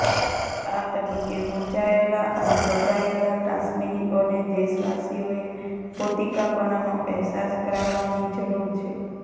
આ તબક્કે મૂંઝાયેલા અને ગભરાયેલા કાશ્મીરીઓને દેશવાસીઓએ પોતીકાપણાનો અહેસાસ કરાવવાની જરૂર છે